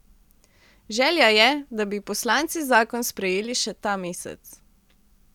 Želja je, da bi poslanci zakon sprejeli še ta mesec.